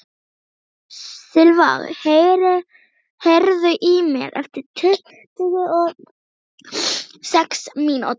Silva, heyrðu í mér eftir tuttugu og sex mínútur.